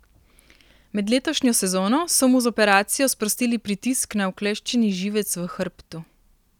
Med letošnjo sezono so mu z operacijo sprostili pritisk na ukleščeni živec v hrbtu.